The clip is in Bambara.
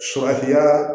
Surafiyaa